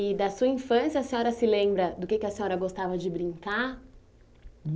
E da sua infância, a senhora se lembra do que é que a senhora gostava de brincar?